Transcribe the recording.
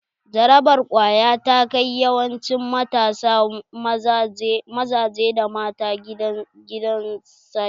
Jarabar ƙwaya ta kai yawancin matasa mazaje da mata gidan saƙe.